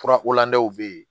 Furakolandɛw bɛ ye